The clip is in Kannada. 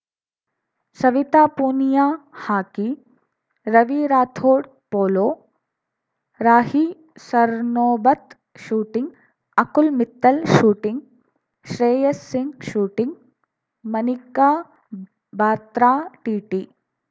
Savita Punia hockey Ravi Rathod polo Rahi Sarnobat shooting Akul Mittal shooting Shreyasi Singh shooting Manika Batra TT